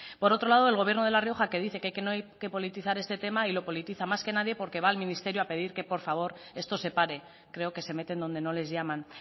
por otro lado el gobierno de la rioja que dice que no hay que politizar este tema y lo politiza más que nadie porque va al ministerio a pedir que por favor esto se pare creo que se meten donde no les llaman